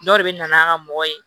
Dɔw de bɛ na n'an ka mɔgɔ ye